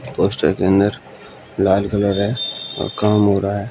के अन्दर लाल कलर है और काम हो रहा है।